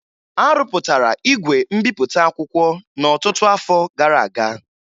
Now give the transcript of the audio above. A rụpụtara igwe mbipụta akwụkwọ n'ọtụtụ afọ gara aga